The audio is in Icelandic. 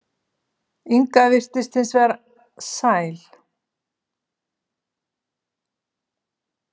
Inga virtist hins vegar sæl.